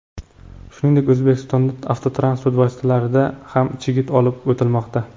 Shuningdek, O‘zbekistondan avtotransport vositasida ham chigit olib o‘tilmoqda.